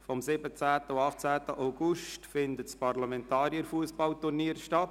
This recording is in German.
Am 17. und 18. August findet das Parlamentarier-Fussballturnier statt.